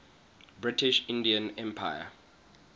british indian empire